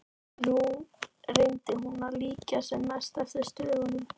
Nú reyndi hún að líkja sem mest eftir stöfunum.